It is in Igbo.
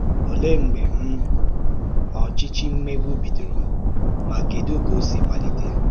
Òlee mbè um ọ̀chịchì mmègbù bídòrò, ma kedụ́ ka ọ̀ sì malítè?